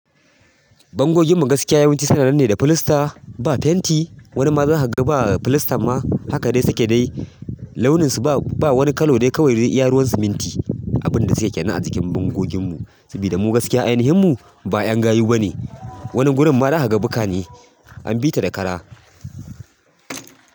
Bangogin mu gaskiya yawanci suna nan ne da filasta, ba fenti. Wani ma zaka ga ba filasta ma, haka dai suke dai. Launinsu ba wani kalo dai kawai de iya ruwan siminti. Abin da suke kena a jikin bangogin mu. Saboda mu gaskiya, ainihin mu ba 'yan gayu bane. Wani gurin ma zaka ga bukka ne, an bi ta da ƙara.